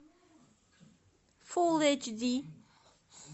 фул эйч ди